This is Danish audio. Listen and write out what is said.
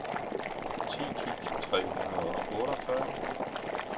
ti tusind tre hundrede og otteogfyrre